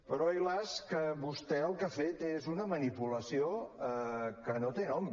però ai las que vostè el que ha fet és una manipulació que no té nom